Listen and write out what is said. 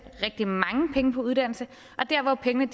uddannelse og der hvor pengene